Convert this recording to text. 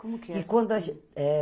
Como que é assim? Quando a a gente é